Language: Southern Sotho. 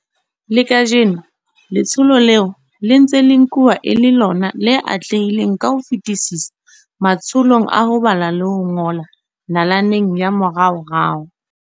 Le kajeno letsholo leo le ntse le nkuwa e le lona le atlehileng ka ho fetisisa matsholong a ho bala le ho ngola nalaneng ya moraorao.